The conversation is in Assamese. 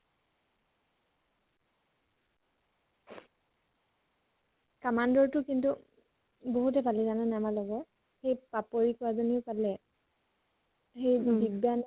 commando ৰ টো কিন্তু বাহুতে পালে জানানে আমাৰ লগৰ। সেই পাপৰী ছৱালীজনী্য়ে পালে